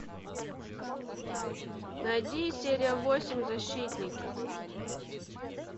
найди серия восемь защитники